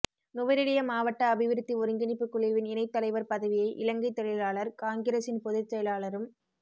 நுவரெலிய மாவட்ட அபிவிருத்தி ஒருங்கிணைப்புக் குழுவின் இணைத் தலைவர் பதவியை இலங்கைத் தொழிலாளர் காங்கிரஸின் பொதுச்செயலாளரும்